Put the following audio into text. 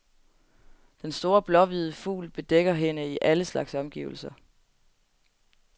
Den store blåhvide fugl bedækker hende i alle slags omgivelser.